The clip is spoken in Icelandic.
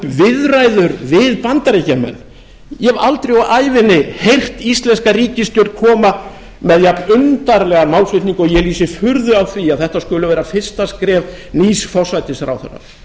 viðræður við bandaríkjamenn ég hef aldrei á ævinni heyrt íslenska ríkisstjórn koma með jafnundarlegan málflutning og ég lýsi furðu á því að þetta skuli vera fyrsta skref nýs forsætisráðherra